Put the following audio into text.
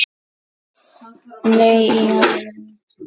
Nei, í alvöru